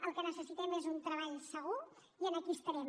el que necessitem és un treball segur i en aquí estarem